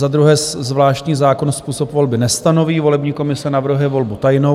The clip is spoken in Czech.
Za druhé, zvláštní zákon způsob volby nestanoví, volební komise navrhuje volbu tajnou.